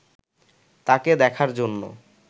তাকে দেখার জন্য